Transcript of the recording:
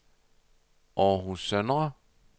Århus Søndre